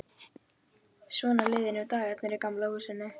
Svona liðu nú dagarnir í Gamla húsinu.